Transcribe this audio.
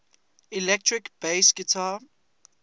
electric bass guitar